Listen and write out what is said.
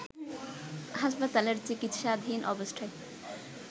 হাসপাতালের চিকিৎসাধীন অবস্থায়